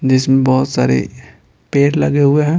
जिसमें बहुत सारे पेर लगे हुए हैं।